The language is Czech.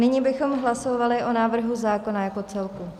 Nyní bychom hlasovali o návrhu zákona jako celku.